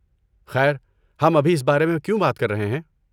خیر، ہم ابھی اس بارے میں کیوں بات کر رہے ہیں؟